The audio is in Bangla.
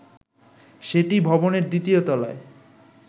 সেটি ভবনের দ্বিতীয় তলায়